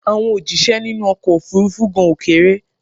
Àwọn òjíṣẹ́ nínú ọkọ̀ òfurufú gan ò kéré